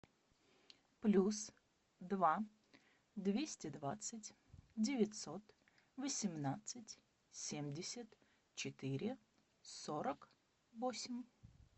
плюс два двести двадцать девятьсот восемнадцать семьдесят четыре сорок восемь